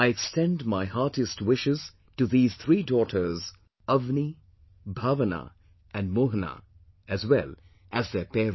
I extend my heartiest wishes to these three daughters Avni, Bhawana and Mohana as well as their parents